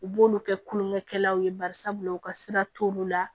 U b'olu kɛ kulonkɛ kɛlaw ye barisabula u ka sira t'olu la